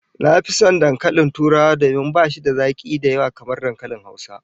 Na fi son dankalin Turawa domin bashi da zaki kamar dankalin Hausa